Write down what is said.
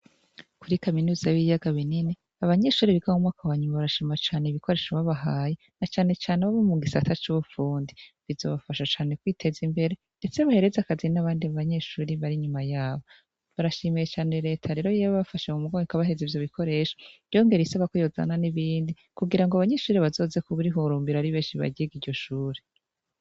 Kuri kaminuza y'ibiyaga binini abanyeshure barashima cane ibikoresho babahaye na cane cane abo mu gisata c'ubufundi. Bizobafasha cane kwitez'imbere ndetse bihereze akazi n'abandi banyeshure bari inyuma yabo. Barashimiye cane rero reta yo yabafashe mu mugongo ikabahereza ivyo bikoresho yongera isaba ko yozana n'ibindi kugira ngo abanyeshure bazoze bararihurumbira ari benshi baryige iryo shure.